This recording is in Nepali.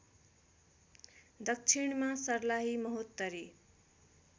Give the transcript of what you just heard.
दक्षिणमा सर्लाही महोत्तरी